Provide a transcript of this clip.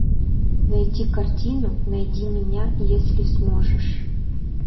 найти картину найди меня если сможешь